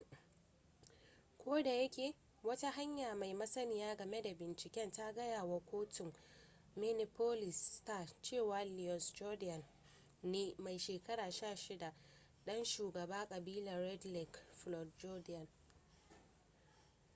ko da yake wata hanya mai masaniya game da binciken ta gaya wa kotun minneapolis star cewa louis jourdain ne yaro mai shekara 16 ɗan shugaban ƙabilun red lake floyd jourdain